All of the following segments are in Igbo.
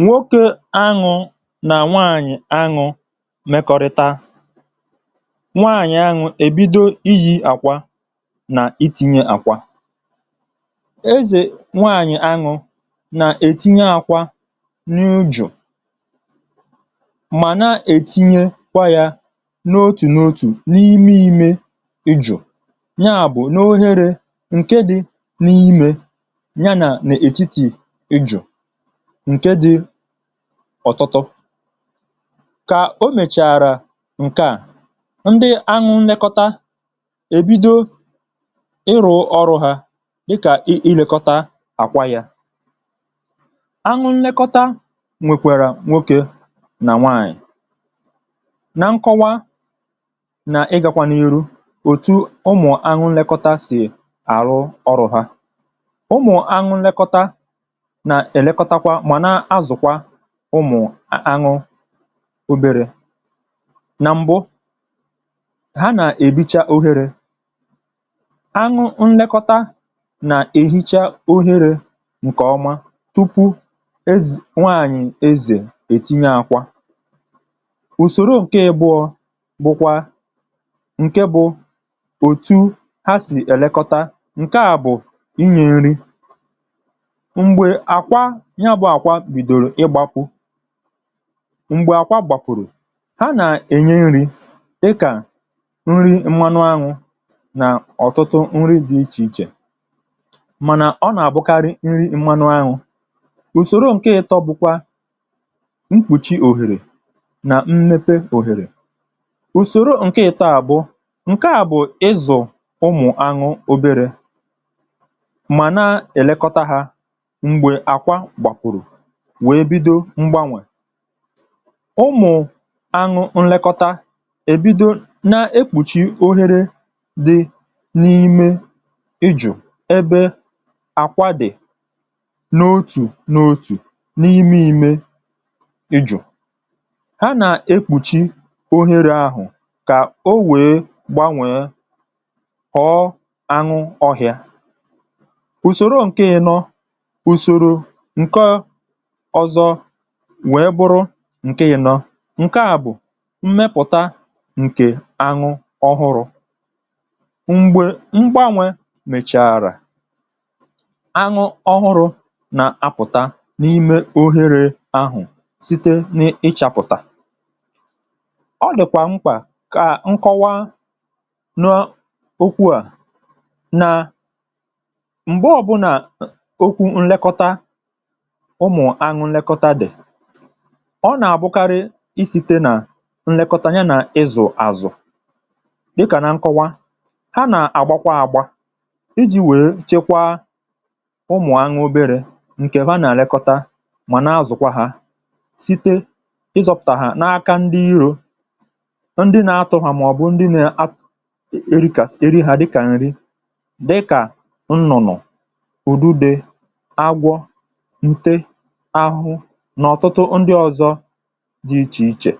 nwoke anwụ̇ nà nwaànyị̀ anwụ̇ mekọrịta, nwaànyị̀ anwụ̇ èbido ihi̇ àkwa nà itinye àkwa. ezè nwaànyị̀ anwụ̇ nà-etinye àkwà n’ụjọ̀ mà nà-ètinye kwa yà n’otù n’otù n’ime ėjù, ya bụ̀ n’ohere ǹke dị̇ n’ime yà um. nà nà-ètiti ịjụ̀ ọ̀tụtụ, kà o mèchààrà ǹkeà, ndị anwụ nlekọta èbido ịrụ̇ ọrụ ha dịkà ịlèkọta àkwa yà. anwụ nlekọta nwèkwèrè nwokė nà nwaànyị̀, nà nkọwȧ nà ịgȧkwȧ n’iru òtu ụmụ̀ anwụnlekọta sì àrụ ọrụ̇ ha. ụmụ̀ anwụnlekọta nà èlekọtakwa ụmụ̀ anụ obere. na mbụ ha nà-èbicha ohere aghụ̇ nlekọta, nà-èhicha ohere ǹkèọma tupu nwaànyị̀ ezè ètinye àkwa. ùsòro ǹke bụọ bụkwa ǹke bụ̇ òtu ha sì èlekọta. ǹke à bụ̀ ịnye nri m̀gbè àkwa gbàkùrù. ha nà-ènye nri̇ ịkà nri̇ mmanụ aṅụ̇, nà ọ̀tụtụ nri dị̇ ichè ichè, mànà ọ nà-àbụkarị nri mmanụ aṅụ. ùsòro ǹke ịtọ bụ̇kwa mkpùchi òhèrè nà mmepe òhèrè. ùsòro ǹke ịtọ à bụ̀ ǹke à bụ̀ ịzụ̀ ụmụ̀ aṅụ̇ obere, mà na-èlekọta ha m̀gbè àkwa gbàkùrù wèe bido mgbanwè um. ụmụ̀ àṅụ nlekọta ẹ̀bido nà-ekpùchi oghere dị n’ime ịjụ̀. ẹbẹ àkwa dị̀ n’otù n’otù n’ime ime ịjụ̀, ha nà-ekpùchi oghere ahụ̀ kà o wèe gbanwèe, họ̀ọ àṅụ ọhịȧ. ùsòrò ǹkẹ̀ ịnọ, ùsòro ǹkẹ ǹke yȧ nọ, ǹke à bụ̀ mmepụ̀ta ǹkè àṅụ ọhụrụ̇. mgbè mgbanwe mèchàrà, àṅụ ọhụrụ̇ nà-apụ̀ta n’ime òhèrè ahụ̀ site n’ịchȧpụ̀tà. ọ lị̀kwà mkpà kà nkọwa n’okwu à nà, ọ nà-àbụkarị isite nà nlekọtanye nà ịzụ̀ àzụ um. dịkà nà nkọwa, ha nà-àgbakwa àgba iji̇ wèe chekwaa ụmụ̀anyị̇ obere. nkè ha nà-àlekọta, mà nà-azụ̀kwa ha site n’ịzọ̇pụ̀tà ha n’aka ndị irȯ, ndị nȧ-atụ̇hà, màọ̀bụ̀ ndị nà-erikàs. eri ha dịkà nrị, dịkà nnụ̀nụ̀ udube dị ichè ichè.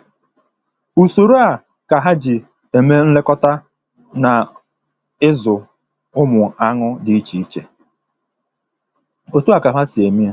ùsòrò a kà ha jì ème nlekọta nà ịzụ̀ ụmụ̀ añụ dị ichè ichè. òtù a kà ha sì ème.